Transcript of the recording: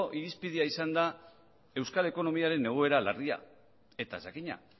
irizpidea izan da euskal ekonomiaren egoera larria eta jakina